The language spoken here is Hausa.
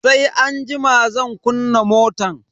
Sai anjima zan kunna motan.